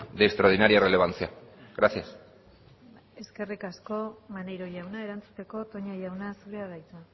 de extraordinaria relevancia gracias eskerrik asko maneiro jauna erantzuteko toña jauna zurea da hitza